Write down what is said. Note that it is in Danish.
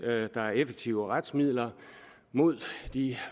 at der er effektive retsmidler mod de